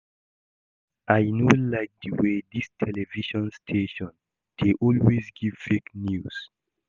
I no like the way dis television station dey always give fake news